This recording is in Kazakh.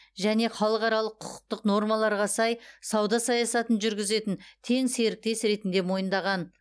және халықаралық құқықтық нормаларға сай сауда саясатын жүргізетін тең серіктес ретінде мойындаған